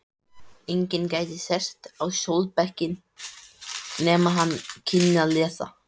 Enginn gæti sest á skólabekk nema hann kynni að lesa.